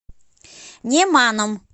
неманом